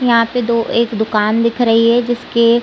यहाँ पे दो एक दुकान दिख रही है जिसके--